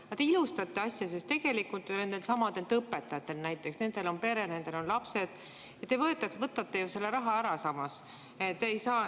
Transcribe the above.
Aga te ilustate asja, sest tegelikult ju nendeltsamadelt õpetajatelt – nendel on pere, nendel on lapsed – te võtate ju selle raha ära.